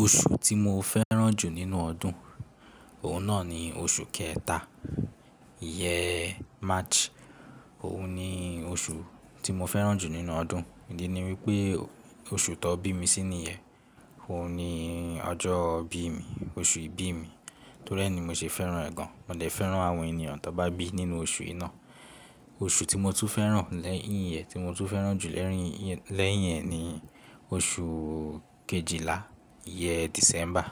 Oṣù tí mo fẹ́ràn jù nínú ọdún, òun náà ni oṣù kẹta, yẹn March. Òun ni oṣù tí mo fẹ́ràn jù nínú ọdún. Ìdí ni wípé oṣù tó bí mi sí nìyẹń, òun ni ọjọ́ ibí mi, oṣù ìbí mi, torí ẹ́ ni mo se fẹ́ràn ẹ́ gan. Mo dè fẹ́ràn àwọn ènìyàn tó bá bí nínú oṣù iná. Oṣù tí mo tún fẹ́ràn lẹ́yìn ẹ́, tí mo tún fẹ́ràn jù lẹ́yìn, lẹ́yìn ẹ́ ni oṣù kejìlá yẹn December,